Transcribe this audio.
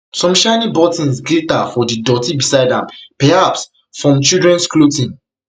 some shiny buttons glitter for di dorti beside am perhaps from childrens clothing